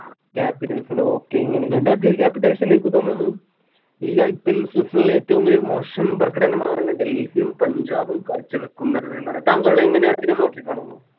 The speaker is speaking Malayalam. Capitals ല്ലേ okay ഇങ്ങനെ Delhi capitals ന് എനിക്ക് തോന്നുന്നു ഈ IPLSeason ലെ ഏറ്റവും മോശം പ്രകടനമാണ് ഡൽഹിയും പഞ്ചാബും കാഴ്ച്ച വെക്കുന്നത് എന്നാണ് താങ്കൾ എങ്ങനെയാണ് അതിനെ നോക്കിക്കാണുന്നു